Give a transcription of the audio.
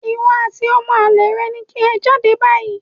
Ìwọ àti ọmọ àlè rẹ ni kí ẹ jáde báyìí